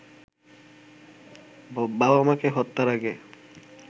বাবা-মাকে হত্যার আগে